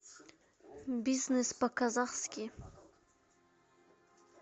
бизнес по казахски